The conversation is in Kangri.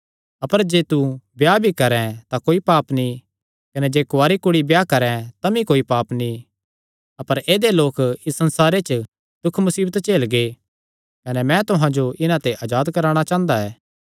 अपर जे तू ब्याह भी करैं तां कोई पाप नीं कने जे कुआरी कुड़ी ब्याह करैं तमी कोई पाप नीं अपर ऐदेय लोक इस संसारे च दुख मुसीबत झेलगे कने मैं तुहां जो इन्हां ते अजाद करवाणा चांह़दा ऐ